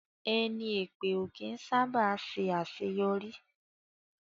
Ẹni èpè ó kí ń sá bà ṣe àṣéyọrí